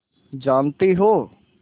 जानती हो